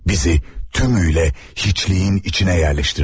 Bizi tümüyle hiçliğin içine yerleştirdiler.